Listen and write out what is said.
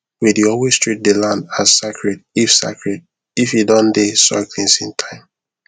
we dey always treat the land as sacred if sacred if e don dey soil cleansing time